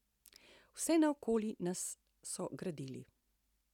Vse naokoli nas so gradili.